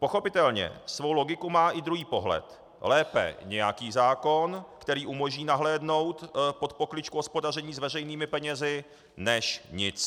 Pochopitelně svou logiku má i druhý pohled - lépe nějaký zákon, který umožní nahlédnout pod pokličku hospodaření s veřejnými penězi, než nic.